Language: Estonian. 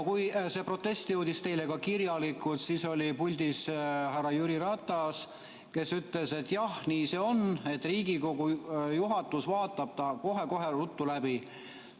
Kui see protest jõudis teile ka kirjalikult, siis oli puldis härra Jüri Ratas, kes ütles, et jah, nii see on, et Riigikogu juhatus vaatab selle kohe-kohe ruttu läbi.